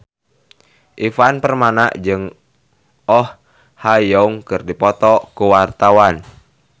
Ivan Permana jeung Oh Ha Young keur dipoto ku wartawan